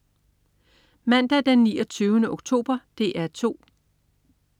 Mandag den 29. oktober - DR 2: